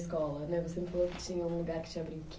escola, né? Você me falou que tinha um lugar que tinha